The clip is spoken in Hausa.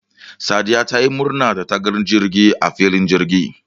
Sadiya tayi murna dataga jirgi a filin jirgi